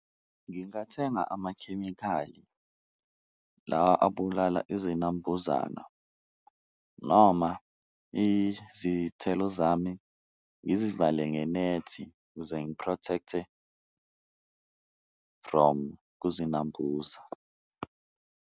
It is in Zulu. Ngingathenga amakhemikhali la abulala izinambuzana noma izithelo zami ngizivale ngenethi ukuze ngi-protect-e from kuzinambuza.